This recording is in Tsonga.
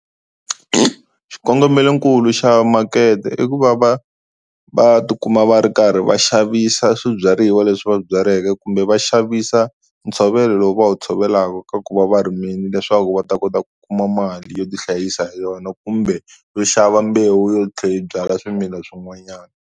Xikongomelonkulu xa makete i ku va va va tikuma va ri karhi va xavisa swibyariwa leswi va byaleke kumbe va xavisa ntshovelo lowu va wu tshovelaka ka ku va va rimini leswaku va ta kota ku kuma mali yo ti hlayisa hi yona kumbe yo xava mbewu yo tlhe yi byala swimila swin'wanyani.